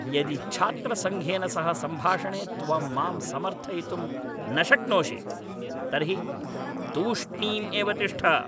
यदि छात्रसङ्घेन सह सम्भाषणे त्वं मां समर्थयितुं न शक्नोषि तर्हि तूष्णीं एव तिष्ठ।